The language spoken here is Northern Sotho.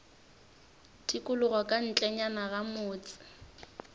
tikologo ka ntlenyana ga motse